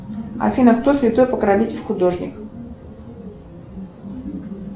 афина кто святой покровитель художников